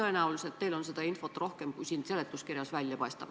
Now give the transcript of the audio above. Tõenäoliselt teil on infot rohkem, kui seletuskirjast välja paistab.